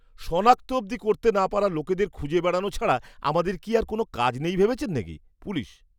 সনাক্ত অবধি করতে না পারা লোকদের খুঁজে বেড়ানো ছাড়া আমাদের কি আর কোনও কাজ নেই ভেবেছেন নাকি? পুলিশ